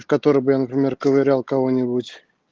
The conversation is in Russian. в который бы я например ковырял кого-нибудь